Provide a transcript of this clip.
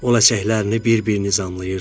O ləçəklərini bir-bir nizamlayırdı.